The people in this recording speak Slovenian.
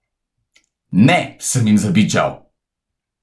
Ne, sem jim zabičal!